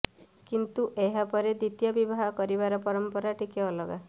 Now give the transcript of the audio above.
କିନ୍ତୁ ଏହାପରେ ଦ୍ୱିତୀୟ ବିବାହ କରିବାର ପରମ୍ପରା ଟିକେ ଅଲଗା